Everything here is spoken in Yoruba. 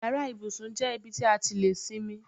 Yàrá ibùsùn jẹ́ ibi tí a ti lè sinmi.